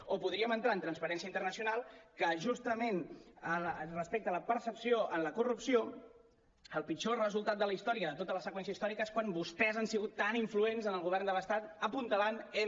o podríem entrar en transparència internacional que justament respecte a la percepció en la corrupció el pitjor resultat de la història de tota la seqüència històrica és quan vostès han sigut tan influents en el govern de l’estat apuntalant m